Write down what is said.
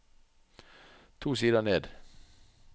To sider ned